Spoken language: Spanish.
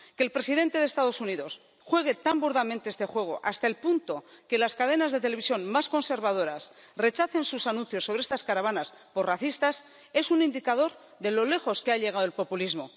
Que el presidente de los Estados Unidos juegue tan burdamente este juego, hasta el punto de que las cadenas de televisión más conservadoras rechacen sus anuncios sobre estas caravanas por racistas, es un indicador de lo lejos que ha llegado el populismo.